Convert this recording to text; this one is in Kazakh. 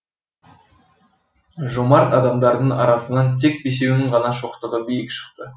жомарт адамдардың арасынан тек бесеуінің ғана шоқтығы биік шықты